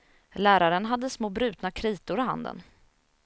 Läraren hade små brutna kritor i handen.